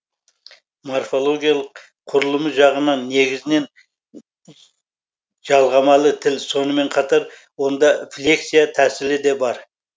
морфологиялық құрылымы жағынан негізінен жалғамалы тіл сонымен қатар онда флексия тәсілі де бар